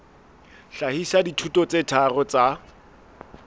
hlahisa dithuto tse tharo tsa